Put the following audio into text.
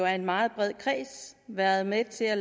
en meget bred kreds været med til at